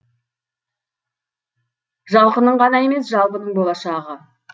жалқының ғана емес жалпының болашағы